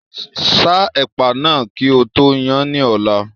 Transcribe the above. Sa ẹ̀pà náà kí o tó yan án ní ọ̀la.